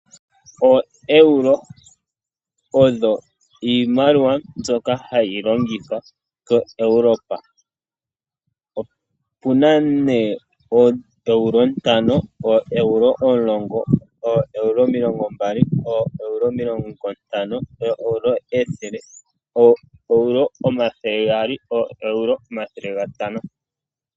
OEuro odho iimaliwa mbyoka hayi longithwa koEuropa. Opuna nee ooEuro ntano, ooEuro omulongo, ooEuro omilongo mbali, ooEuro omilongo ntano, ooEuro ethele, ooEuro omathele gaali, ooEuro omathele gatano.